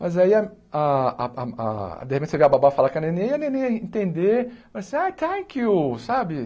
Mas aí, a a a de repente, você vê a babá falar com a neném, e a neném ia entender, falar assim, ah, thank you, sabe?